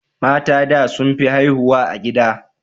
Matan da sun fi haihuwa a gida